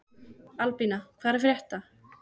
Albína, hvað er að frétta?